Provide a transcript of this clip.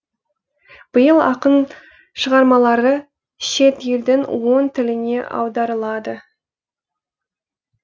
биыл ақын шығармалары шет елдің он тіліне аударылады